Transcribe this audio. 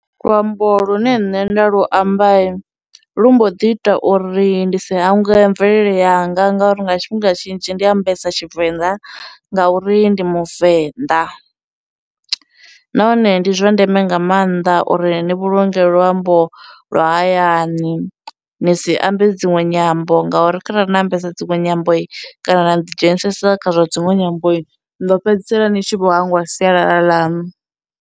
Luambo lune nṋe nda lu amba lu mbo ḓi ita uri ndi si hangwe mvelele yanga nga uri nga tshifhinga tshinzhi ndi ambesa Tshivenḓa ngauri ndi muvenḓa, nahone ndi zwa ndeme nga maanḓa uri ni vhulunge luambo lwa hayani ni si ambe dziṅwe nyambo ngauri kharali na ambesa dziṅwe nyambo, kana vha ḓi dzhenisa kha zwa dzinwe nyambo ni ḓo fhedzisela ni tshi vho hangwa sialala ḽaṋu.